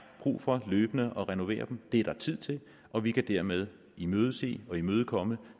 brug for løbende at renovere den det er der tid til og vi kan dermed imødese og imødekomme